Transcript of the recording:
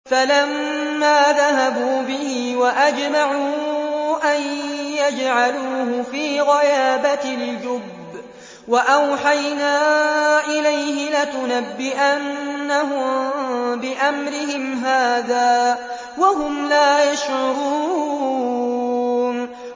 فَلَمَّا ذَهَبُوا بِهِ وَأَجْمَعُوا أَن يَجْعَلُوهُ فِي غَيَابَتِ الْجُبِّ ۚ وَأَوْحَيْنَا إِلَيْهِ لَتُنَبِّئَنَّهُم بِأَمْرِهِمْ هَٰذَا وَهُمْ لَا يَشْعُرُونَ